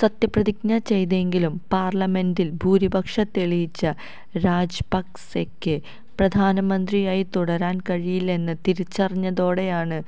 സത്യപ്രതിജ്ഞ ചെയ്തെങ്കിലും പാർലമെൻറിൽ ഭൂരിപക്ഷം തെളിയിച്ച് രാജപക്സെയ്ക്ക് പ്രധാനമന്ത്രിയായി തുടരാൻകഴിയില്ലെന്ന് തിരിച്ചറിഞ്ഞതോടെയാണ്